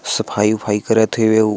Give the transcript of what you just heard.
सफाई उफाई करथेवे अऊ--